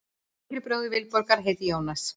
Yngri bróðir Vilborgar heitir Jónas.